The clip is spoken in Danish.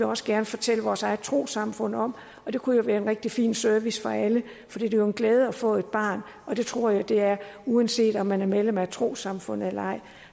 også gerne fortælle vores eget trossamfund om det kunne jo være en rigtig fin service for alle for det er jo en glæde at få et barn og det tror jeg at det er uanset om man er medlem af et trossamfund eller ej